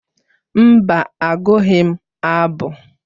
Mba, agụghị m abụ.